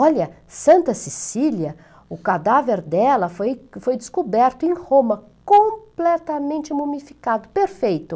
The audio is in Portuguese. Olha, Santa Cecília, o cadáver dela foi foi descoberto em Roma, completamente mumificado, perfeito.